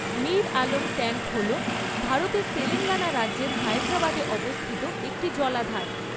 Mir Alam tank হল ভারতের তেলেঙ্গানা রাজ্যের হায়দরাবাদে অবস্থিত একটি জলাধার।